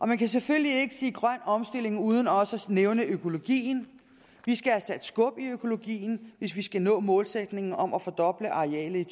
man kan selvfølgelig ikke sige grøn omstilling uden også at nævne økologien vi skal have sat skub i økologien hvis vi skal nå målsætningen om at fordoble arealet i